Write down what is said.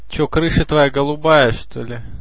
что крыша твоя голубая что-ли